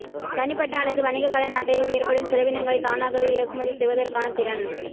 தனிப்பட்ட அல்லது வணிக கடன் அட்டையில் ஏற்படும் செலவினங்களை தானாகவே இறக்குமதி செய்வதற்கான திறன்